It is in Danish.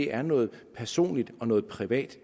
er noget personligt og noget privat